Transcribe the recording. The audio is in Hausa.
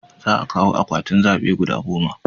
Za a kawo akwatin zabe guda goma